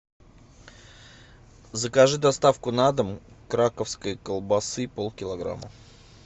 закажи доставку на дом краковской колбасы полкилограмма